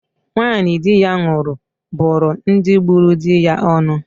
Nwanyị di ya nwụrụ bụrụ ndị gburu di ya onu.